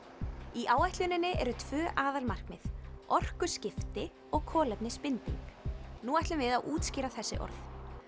í áætluninni eru tvö aðalmarkmið orkuskipti og kolefnisbinding nú ætlum við að útskýra þessi orð